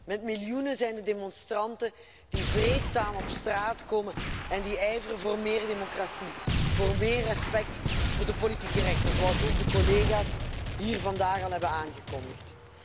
Met miljoenen zijn de demonstranten die vreedzaam op straat komen en die ijveren voor meer democratie, voor meer respect, voor de politieke rechten, zoals ook de collega's hier vandaag al hebben aangekondigd.